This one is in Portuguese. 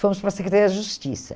Fomos para a Secretaria da Justiça.